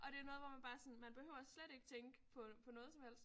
Og det er noget hvor man bare sådan man behøver slet ikke tænke på på noget som helst